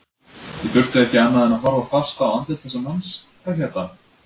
Ég þurfti ekki annað en að horfa fast á andlit þess manns, hvað hét hann?